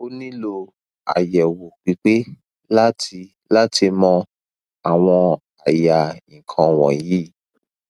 o nilo ayewo pipe lati lati mo awon aya ikan wonyi